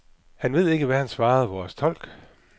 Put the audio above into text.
Det ved han ikke, svarede vores tolk.